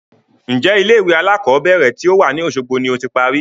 Ń jẹ́ ilé ìwé alakọ̀bẹ́ẹ́rẹ̀ to wá ní Osogbo ni ó ti parí?